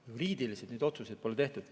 Juriidiliselt neid otsuseid pole tehtud.